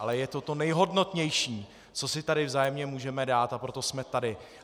Ale je to to nejhodnotnější, co si tady vzájemně můžeme dát, a proto jsme tady.